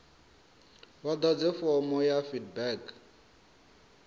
vha ḓadze fomo ya feedback